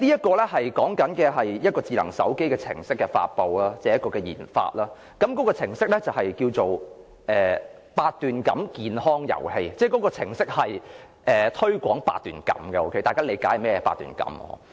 該項目計劃書與智能手機程式的研發有關，項目程式名為"八段錦健康遊戲"，我記得該程式是推廣八段錦的——大家應理解甚麼是八段錦。